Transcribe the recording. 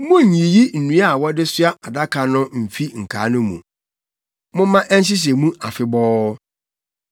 Munnyiyi nnua a wɔde soa adaka no mfi nkaa no mu. Momma ɛnhyehyɛ mu afebɔɔ.